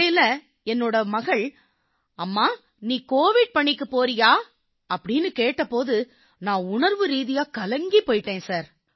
இடையில என் மகள் அம்மா நீ கோவிட் பணிக்குப் போறியான்னு கேட்ட போது நான் உணர்வு ரீதியாகக் கலங்கிப் போயிட்டேன் சார்